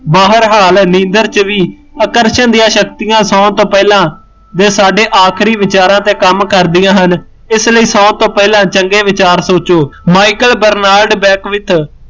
ਬਾਹਰ ਹਾਲ ਨੀਂਦਰ ਚ ਵੀ ਆਕਰਸ਼ਣ ਦੀਆ ਸ਼ਕਤੀਆ ਸੋਣ ਤੋਂ ਪਹਿਲਾਂ ਸਾਡੇ ਆਖਰੀ ਵਿਚਾਰਾ ਤੇ ਕੰਮ ਕਰਦੀਆ ਹਨ, ਇਸ ਲਈ ਸੋਣ ਤੋਂ ਪਹਿਲਾਂ ਚੰਗੇ ਵਿਚਾਰ ਸੋਚੋ, ਮਾਈਕਲ ਬਰਨਾਲਡ ਬੇਕਵਿਤ